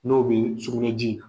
N'o bɛ sugunɛji.